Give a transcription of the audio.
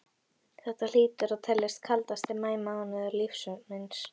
Þetta hlýtur að teljast kaldasti maí mánuður lífs míns.